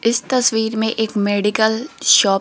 इस तस्वीर में एक मेडिकल शॉप --